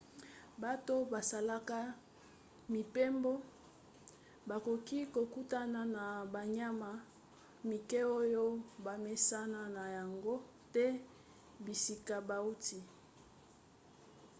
bato basalaka mibembo bakoki kokutana na banyama mike oyo bamesana na yango te na bisika bauti